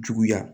Juguya